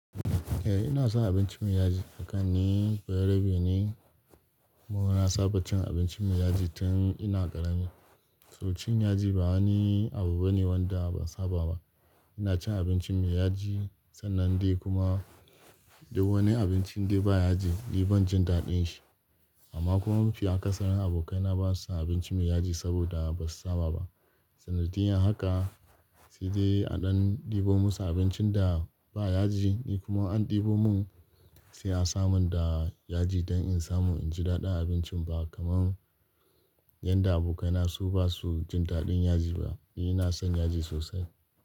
Eh ina son abinci mai yaji. A kan ni, bayarabe ne. Mu na saba cin abinci mai yaji tun ina ƙarami. To cin yaji ba wani abu bane wanda ban saba ba. Ina cin abinci mai yaji sannan dai kuma duk wani abincin da ba yaji, ni ban jin daɗin shi. Amma kuma mafi akasarin abokaina ba su son abinci mai yaji saboda ba su saba ba. Sanadiyar haka sai dai a ɗan ɗebo musu abincin da ba yaji, ni kuma an ɗebo mun sai a samun da yaji don in samu in ji daɗin abincin ba kamar yanda abokaina su ba su jin daɗin yaji ba. Ni ina son yaji sosai.